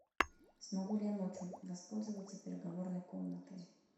смогу ли я ночью воспользоваться переговорной комнатой